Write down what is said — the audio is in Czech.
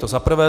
To za prvé.